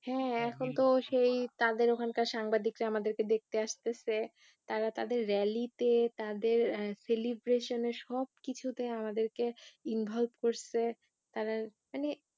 হ্যাঁ এখন তো সেই তাদের ওখানকার সাংবাদিকরা আমাদেরকে দেখতে আসতেছে তারা তাদের rally তে তাদের আহ celebration এ সব কিছুতে আমাদেরকে involve করছে তারা মানে